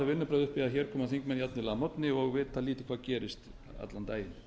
vinnubrögð að hér komi þingmenn jafnvel að morgni og viti lítið hvað gerist allan daginn